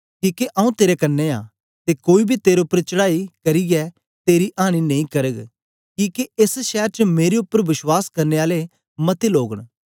किके आंऊँ तेरे कन्ने आं ते कोई बी तेरे उपर चढ़ांई करियै तेरी आंनी नेई करग किके एस शैर च मेरे उपर विश्वास करने आले मते लोग न